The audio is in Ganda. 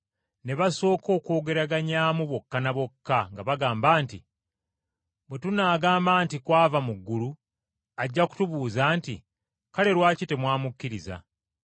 Ne basooka okwogeraganyaamu bokka ne bokka nga bagamba nti, “Bwe tunaagamba nti, ‘Kwava mu ggulu,’ ajja kutubuuza nti, ‘Kale, lwaki temwamukkiriza?’